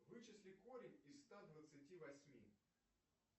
вычисли корень из ста двадцати восьми